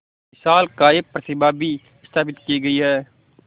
विशालकाय प्रतिमा भी स्थापित की गई है